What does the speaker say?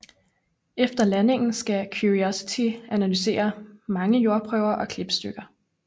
Efter landingen skal Curiosity analysere mange jordprøver og klippestykker